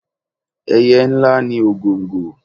Ẹyẹ ńlá ni ògòǹgò.